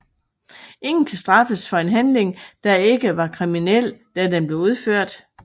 Ingen kan straffes for en handling der ikke var kriminel da den blev udført